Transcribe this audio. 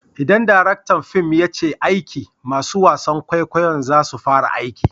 Idan direktan fim ya ce aiki! masun wasan kwaikwayon za su fara aiki.